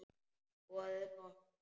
Boðið gott kvöld.